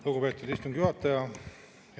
Lugupeetud istungi juhataja!